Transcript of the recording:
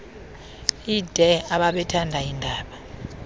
ide ababethanda iindaba